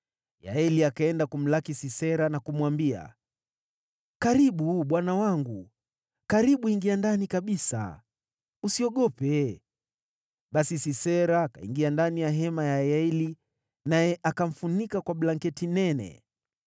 Yaeli akaenda kumlaki Sisera na kumwambia, “Karibu, bwana wangu, karibu ingia ndani kabisa. Usiogope.” Basi Sisera akaingia ndani ya hema ya Yaeli, naye akamfunika kwa blanketi nene.